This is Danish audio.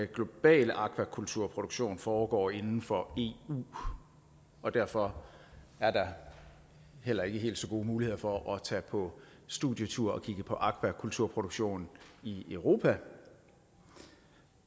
globale aquakulturproduktion foregår inden for eu og derfor er der heller ikke helt så gode muligheder for at tage på studietur og kigge på aquakulturproduktion i europa